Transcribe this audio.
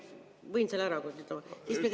Võin selle ära küsida?